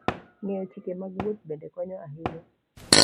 Ng'eyo chike mag wuoth bende konyo ahinya.